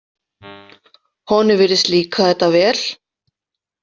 Honum virðist líka þetta vel.